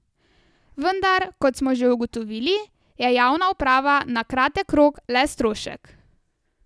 Vendar, kot smo že ugotovili, je javna uprava na kratek rok le strošek.